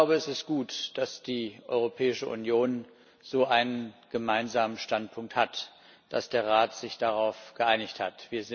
Es ist gut, dass die Europäische Union so einen gemeinsamen Standpunkt hat, dass der Rat sich darauf geeinigt hat.